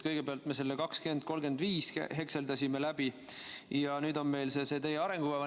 Kõigepealt me selle "2035" hekseldasime läbi ja nüüd on meil see teie arengukava.